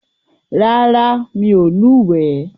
Rárá, mi ò lúwèé.